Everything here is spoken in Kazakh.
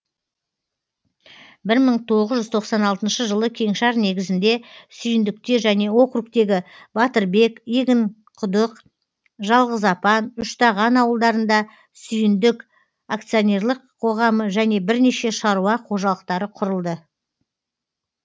бір мың тоғыз жүз тоқсан алтыншы жылы кеңшар негізінде сүйіндікте және округтегі батырбек егінқұдық жалғызапан үштаған ауылдарында сүйіндік акционерлік қоғамы және бірнеше шаруа қожалықтары құрылды